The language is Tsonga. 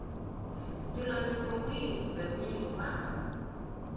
ndzulamiso wihi kumbe wihi wa